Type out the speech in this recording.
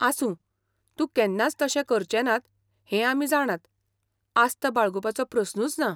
आसूं, ते केन्नाच तशें करचेनात हें आमी जाणात, आस्त बाळगुपाचो प्रस्नूच ना.